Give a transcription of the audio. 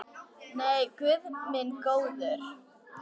Nei, guð minn góður.